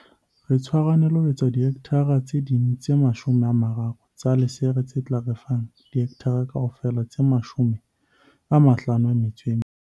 Re tshwarahane le ho etsa dihekthara tse ding tse 30 tsa lesere tse tla re fa dihekthara kaofela tse 54.